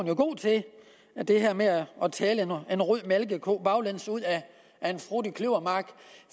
jo god til det her med at tale en rød malkeko baglæns ud af en frodig kløvermark